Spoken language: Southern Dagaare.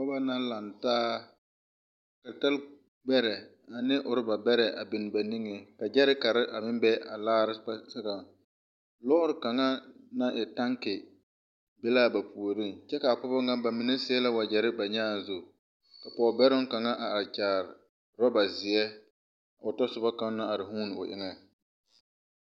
Noba la laŋtaa ka talakpoŋbɛrɛ ane rɔbabɛrɛ a biŋ ba nigepoɔ ka gyɛɛrekara miŋ be a laare sɔgɔpoɔg lɔɔre kaŋa naŋ e taŋke be la ba puoriŋ kyɛ ka a pɔgeba nyɛ ba mine seɛ wagyɛre ba nyaa zu pɔgebɛroŋ kaŋa are kyaare rɔba ziɛ o tasoba kaŋa naŋ vuuni o eŋa